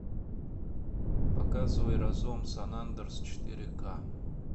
показывай разлом сан андреас четыре ка